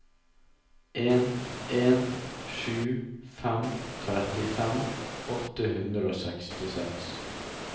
en en sju fem trettifem åtte hundre og sekstiseks